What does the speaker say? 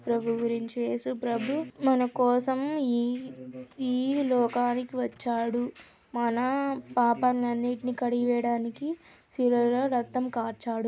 ప్రభు గురించి ఏసు ప్రభువు మన కోసం ఈ ఈ లోకానికి వచ్చాడు. మన పాపాన్నినీ కడిగి వేయడానికి శిలా లో రక్తం కార్చాడు.